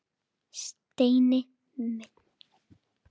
Steini minn.